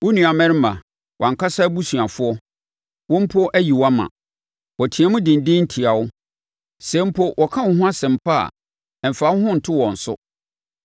Wo nuammarima, wʼankasa abusuafoɔ, wɔn mpo ayi wo ama; wɔteam denden tia wo. Sɛ mpo wɔka wo ho asɛm pa a, mfa wo ho nto wɔn so.